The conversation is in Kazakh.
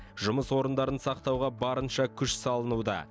жұмыс орындарын сақтауға барынша күш салынуда